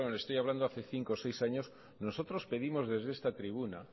estoy hablando de hace cinco o seis años nosotros pedimos desde esta tribuna